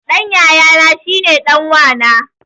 Ɗan yayana shine ɗan wa na